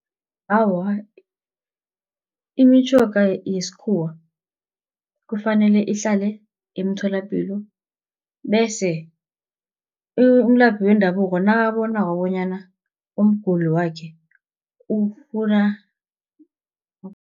Awa imitjhoga yesikhuwa kufanele ihlale emtholapilo, bese umlaphi wendabuko nakabonako bonyana umguli wakhe ufuna